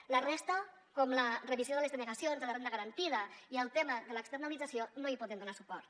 a la resta com la revisió de les denegacions de la renda garantida i el tema de l’externalització no hi podem donar suport